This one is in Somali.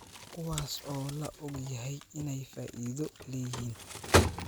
kuwaas oo la og yahay inay faa�iido leeyihiin